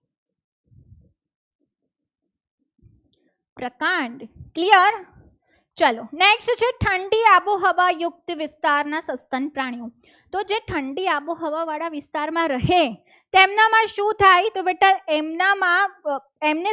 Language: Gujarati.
પ્રકાંડ clear ચલો next છે. ઠંડી આબોહવા યુક્ત વિસ્તારના સત્સંગ પ્રાણીઓ તો જે ઠંડી આબોહવા વાળા વિસ્તારમાં રહે. તેમનામાં શું થાય તો બેટા એમનામાં